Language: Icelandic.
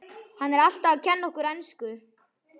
Hann er alltaf að kenna okkur ensku!